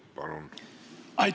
Palun!